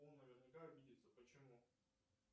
он наверняка обидится почему